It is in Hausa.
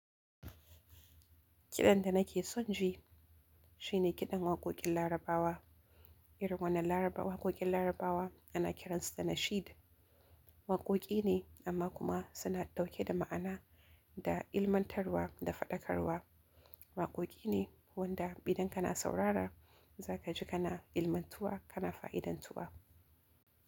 Kiɗan da nake son ji shine kiɗan waƙoƙin Larabawa. Irin wannan Larabawa waƙoƙin Larabawa ana kiransu da nasheed. Waƙoƙi ne amma kuma suna ɗauke da ma'ana da ilmantarwa da faɗakarwa. Waƙoƙi ne wanda idan kana saurara za ka ji kana ilmantuwa kana fa'idantuwa.